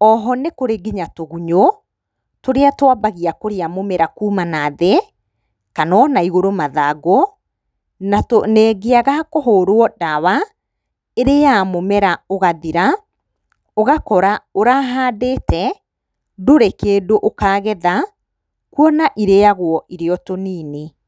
Oho nĩkũrĩ nginya tũgunyũ tũrĩa twambagia kũrĩa mũmera kuma na thĩ kana ona igũrũ mathangũ na ĩngĩaga kũhũrwo ndawa ĩrĩyaga mũmera ũgathira ũgakora ũrahandĩte ndũrĩ kĩndũ ũkagetha kuona ĩrĩyagwo ĩrĩ o tũnini.